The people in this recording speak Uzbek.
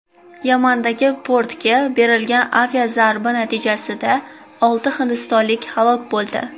Yamandagi portga berilgan aviazarba natijasida olti hindistonlik halok bo‘ldi.